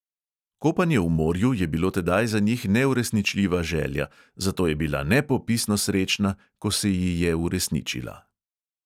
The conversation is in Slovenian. Kopanje v morju je bilo tedaj za njih neuresničljiva želja, zato je bila nepopisno srečna, ko se ji je uresničila.